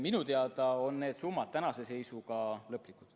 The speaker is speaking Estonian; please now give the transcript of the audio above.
Minu teada on need summad tänase seisuga lõplikud.